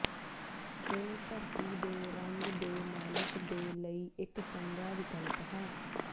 ਇਹ ਧਰਤੀ ਦੇ ਰੰਗ ਦੇ ਮਾਲਕ ਦੇ ਲਈ ਇੱਕ ਚੰਗਾ ਵਿਕਲਪ ਹੈ